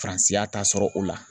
FARANSI y'a ta sɔrɔ o la.